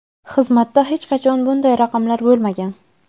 Xizmatda hech qachon bunday raqamlar bo‘lmagan.